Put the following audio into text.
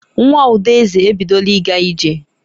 Nwa Udeze ebidola ịga ije.